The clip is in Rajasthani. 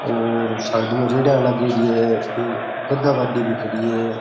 और साइड में रेडियां लागयोड़ी है यु गधा गाड़ी भी खड़ी है।